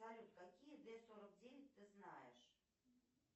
салют какие д сорок девять ты знаешь